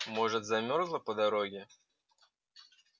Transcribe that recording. может замёрзла по дороге